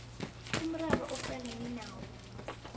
umraro aqalene nawo